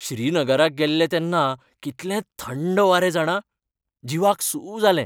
श्रीनगराक गेल्ले तेन्ना कितले थंड वारे जाणा, जीवाक सूss जालें.